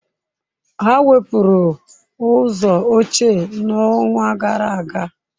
Ha wepụrụ ụzọ ochie n'ọnwa gara aga.